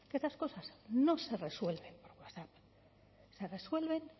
que otras cosas no se resuelven por pasar se resuelven